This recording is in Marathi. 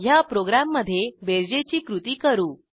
ह्या प्रोग्रॅममधे बेरजेची कृती करू